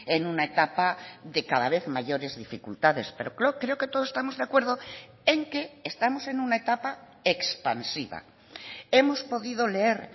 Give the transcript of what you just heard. en una etapa de cada vez mayores dificultades pero creo que todos estamos de acuerdo en que estamos en una etapa expansiva hemos podido leer